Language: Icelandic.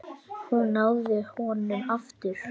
Hún náði honum aftur.